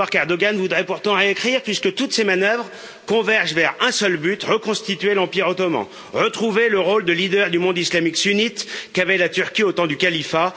Une histoire qu'Erdoğan voudrait pourtant réécrire puisque toutes ses manœuvres convergent vers un seul but reconstituer l'Empire ottoman, retrouver le rôle de leader du monde islamique sunnite, qu'avait la Turquie au temps du califat.